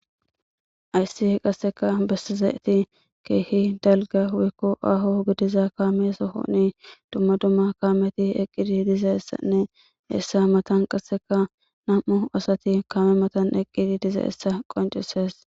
Ayssi qasseka bessizeeti keehi dalga hwikko aho gidiza kaame sohoni dumma dumma kaameti eqqidi diza essanne eessa matan qasseka nam'u asati kame matan eqqidi diza essa qoncises.